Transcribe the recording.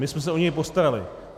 My jsme se o něj postarali.